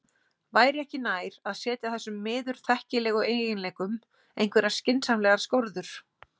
Væri ekki nær að setja þessum miður þekkilegu eiginleikum einhverjar skynsamlegar skorður?